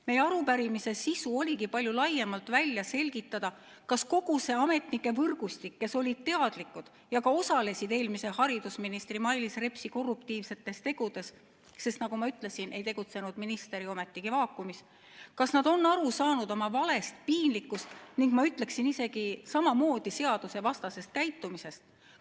Meie arupärimise sisu oligi palju laiemalt välja selgitada, kas kogu see ametnike võrgustik, kes olid teadlikud ja ka osalesid eelmise haridusministri Mailis Repsi korruptiivsetes tegudes – sest nagu ma ütlesin, minister ei tegutsenud ju ometigi vaakumis –, on aru saanud oma valest, piinlikust ning, ma ütleksin, isegi samamoodi seadusevastasest käitumisest.